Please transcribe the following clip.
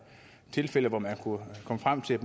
tilfælde hvor man kom frem til at